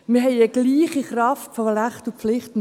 Wir haben eine gleiche Kraft von Rechten und Pflichten.